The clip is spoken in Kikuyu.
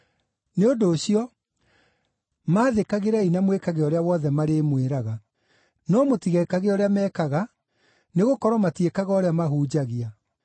Nĩ ũndũ ũcio, maathĩkagĩrei na mwĩkage ũrĩa wothe marĩmwĩraga. No mũtigekage ũrĩa mekaga, nĩgũkorwo matiĩkaga ũrĩa mahunjagia.